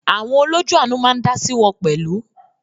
Àwọn “ olójú àánú" ma á ń dáásí wọn pẹ̀lú.